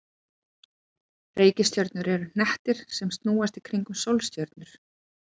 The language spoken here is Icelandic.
Reikistjörnur eru hnettir sem snúast í kringum sólstjörnur.